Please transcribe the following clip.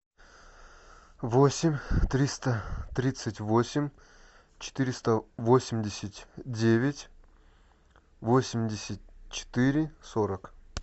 восемь триста тридцать восемь четыреста восемьдесят девять восемьдесят четыре сорок